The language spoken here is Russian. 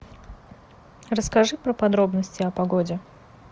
расскажи про подробности о погоде